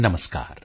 ਨਮਸਕਾਰ